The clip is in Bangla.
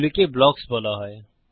এগুলিকে ব্লকস বলা হয়